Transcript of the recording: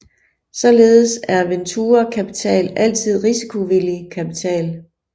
Således er venturekapital altid risikovillig kapital